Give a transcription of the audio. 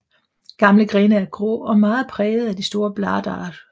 Gamle grene er grå og meget præget af de store bladar